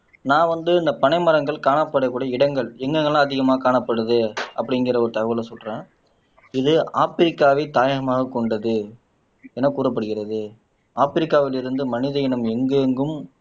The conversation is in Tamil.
நான் வந்து இந்த பனை மரங்கள் காணப்படக்கூடிய இடங்கள் எங்கெங்கெல்லாம் அதிகமா காணப்படுது அப்படிங்கிற ஒரு தகவலை சொல்றேன் இது ஆப்பிரிக்காவை தாயகமாகக் கொண்டது எனக் கூறப்படுகிறது ஆப்பிரிக்காவிலிருந்து மனித இனம் எங்கெங்கும்